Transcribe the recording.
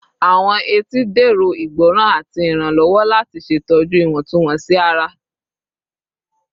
Awọn etí dẹrọ igbọran ati iranlọwọ lati ṣetọju iwọntunwọnsi ara